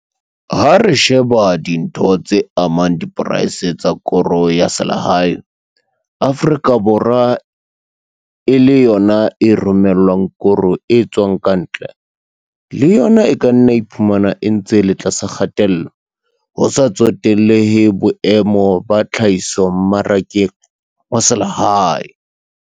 Ha re sheba dintho tse amang diporeisi tsa koro ya selehae, Afrika Borwa e le yona e romellwang koro e tswang ka ntle, le yona e ka nna ya iphumana e ntse e le tlasa kgatello, ho sa tsotellehe boemo ba tlhahiso mmarakeng wa selehae.